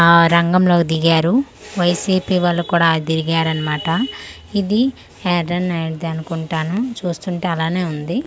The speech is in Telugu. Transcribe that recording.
ఆ రంగంలో దిగారు వై_ సి_పి వాలు కూడ దిగారు అన్నమాట ఇది నైట్ ది అనుకుంటాను చూస్తుంటే అలానే ఉంది.